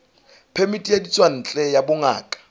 phemiti ya ditswantle ya bongaka